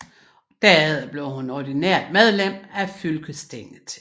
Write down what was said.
Derefter blev hun ordinært medlem af fylkestinget